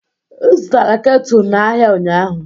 M zụtara ketụ n'ahịa ụnyaahụ